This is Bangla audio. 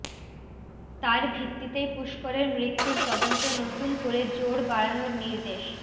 তার ভিত্তিতেই পুষ্করের মৃত্যুর তদন্তে নতুন করে জোর বাড়ানোর নির্দেশ